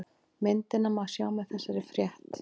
Myndina má sjá með þessari frétt